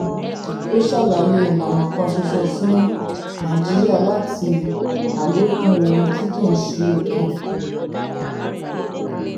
ó ṣàlàyé ìlànà kan ṣoṣo fún ṣoṣo fún nàìjíríà láti àlékún ohun tí kì í ṣe epo.